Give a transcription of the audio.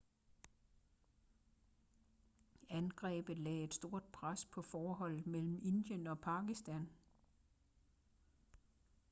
angrebet lagde et stort pres på forholdet mellem indien og pakistan